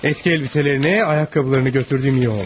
Köhnə paltarlarını, ayaqqabılarını götürdüyüm yaxşı olub.